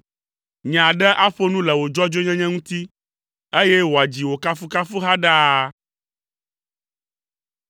Nye aɖe aƒo nu le wò dzɔdzɔenyenye ŋuti, eye wòadzi wò kafukafuha ɖaa.